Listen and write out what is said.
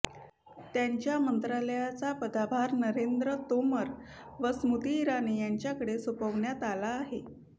त्यांच्या मंत्रालयाचा पदाभार नरेंद्र तोमर व स्मृती इराणी यांच्याकडे सोपावण्यात आला आहे